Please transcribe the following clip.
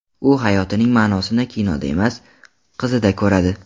U hayotining ma’nosini kinoda emas, qizida ko‘radi.